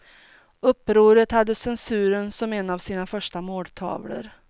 Upproret hade censuren som en av sina första måltavlor.